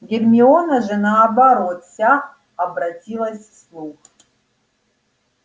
гермиона же наоборот вся обратилась в слух